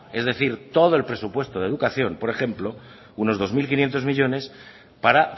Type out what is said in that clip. es decir todo el presupuesto de educación por ejemplo unos dos mil quinientos millónes para